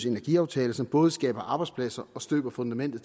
energiaftale som både skaber arbejdspladser og støber fundamentet